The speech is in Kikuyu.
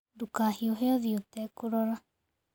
Ndũkahiũhe ũthiĩ ũtekũrora.